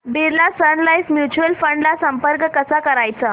Birla Sun Life mutual fund ला संपर्क कसा करायचा